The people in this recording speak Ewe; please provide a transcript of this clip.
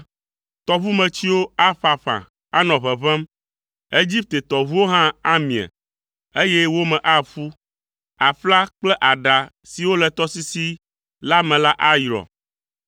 Tɔʋumetsiwo aƒaƒã, anɔ ʋeʋẽm. Egipte tɔʋuwo hã amie, eye wo me aƒu. Aƒla kple aɖa siwo le tɔsisi la me la ayrɔ.